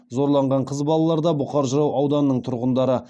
зорланған қыз балалар да бұқар жырау ауданының тұрғындары